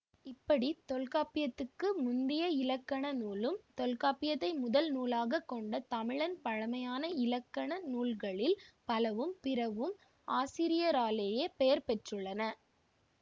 இப்படி தொல்காப்பியத்துக்கு முந்திய இலக்கண நூலும் தொல்காப்பியத்தை முதல்நூலாகக் கொண்ட தமிழின் பழமையான இலக்கண நூல்களில் பலவும் பிறவும் ஆசிரியராலேயே பெயர் பெற்றுள்ளன